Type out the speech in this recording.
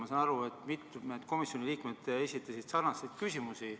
Ma saan aru, et mitmed komisjoni liikmed esitasid sarnaseid küsimusi.